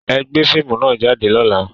Ẹ gbé fíìmù nà jáde lọ́la!